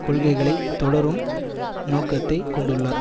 கொள்கைகளை தொடரும் நோக்கத்தை கொண்டுள்ளார்